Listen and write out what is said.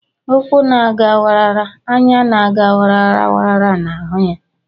Ụkwụ na-aga wara wara, anya na-aga wara wara na-ahụ ya